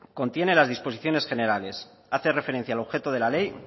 contiene las disposiciones generales hace referencia al objeto de la ley